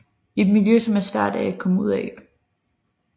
Et miljø som er svært at komme ud af